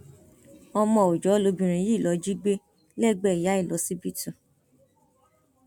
ọmọ òòjọ lobìnrin yìí lóò jí gbé lẹgbẹẹ ìyá ẹ lọsibítù